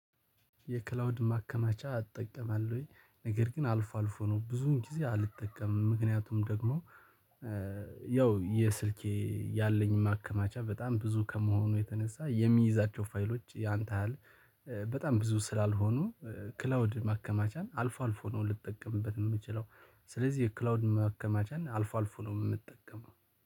የክላውድ ማከማቻ አልጠቀምም ወይ ነገር ግን አልፎ አልፎ ነው ብዙን ጊዜ አልጠቀምም። ምክንያቱም ደግሞ ያው የስልኬ ያለኝ ማከማቻ በጣም ብዙ ከመሆኑ የተነሳ የሚይዛቸው ፋይሎች ያን ያህል በጣም ብዙ ስላልሆኑ ክላውድ ማከማቻን አልፎ አልፎ ነው ልጠቀምበት የምችለው። ስለዚህ የክላውድ መከማቻ እና አልፎ አልፎ ነው የምጠቀመው